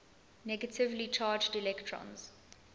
negatively charged electrons